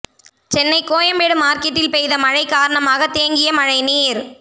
சென்னை கோயம்பேடு மார்கெட்டில் பெய்த மழை காரணமாக தேங்கிய மழை நீர்